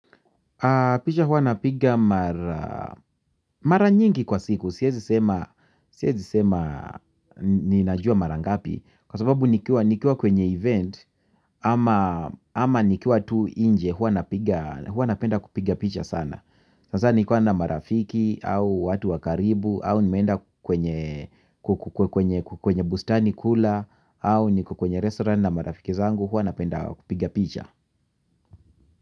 Picha huwa napiga mara nyingi kwa siku. Siwezi sema ninajua mara ngapi. Kwa sababu nikiwa kwenye event ama nikiwa tu nje huwa napenda kupiga picha sana. Hasa nikuwa na marafiki au watu wa karibu au nimeenda kwenye bustani kula au niko kwenye restaurant na marafiki zangu huwa napenda kupiga picha.